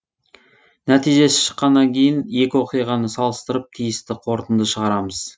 нәтижесі шыққаннан кейін екі оқиғаны салыстырып тиісті қорытынды шығарамыз